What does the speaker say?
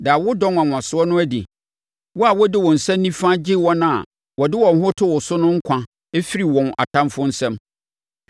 Da wo dɔ nwanwasoɔ no adi wo a wode wo nsa nifa gye wɔn a wɔde wɔn ho to wo so no nkwa firi wɔn atamfoɔ nsam.